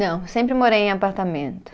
Não, sempre morei em apartamento.